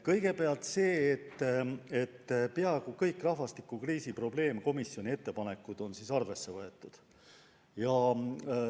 Kõigepealt toon esile, et peaaegu kõiki rahvastikukriisi lahendamise probleemkomisjoni ettepanekuid on arvesse võetud.